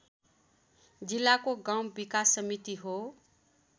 जिल्लाको गाउँ विकास समिति हो